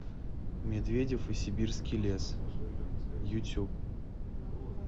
медведев и сибирский лес ютюб